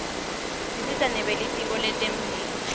tisita nebelitko lentemphilo